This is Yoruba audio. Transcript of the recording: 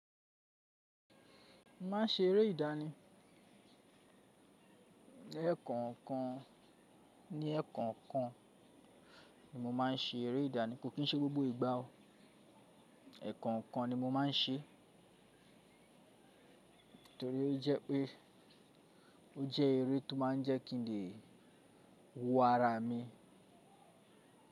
Mo ma n ṣe eré ìdání. Ẹ̀kọńkan, ní ẹ̀kọńkan ni mo ma n ṣe eré ìdání, ko kí n ṣe gbogbo ìgbá o. Ẹ̀kọńkan ni mo ma n ṣe torí jé pé o jé eré to ma n jẹ́ kí n lè hu ara mi.